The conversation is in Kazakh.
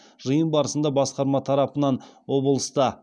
жиын барысында басқарма тарапынан облыста